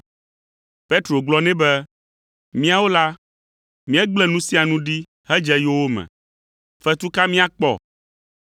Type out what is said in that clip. Petro gblɔ nɛ be, “Míawo la, míegblẽ nu sia nu ɖi hedze yowòme. Fetu ka míakpɔ?”